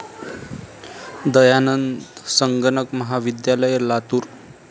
दयानंद संगणक महाविद्यालय, लातूर